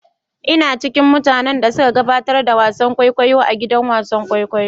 Ina ciƙin mutanen da suƙa gaɓatar da wasan ƙwaiƙwayo a gidan wasan ƙwaiƙwayo.